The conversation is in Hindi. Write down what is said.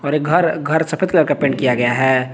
घर घर सफेद कलर का पेंट किया गया है।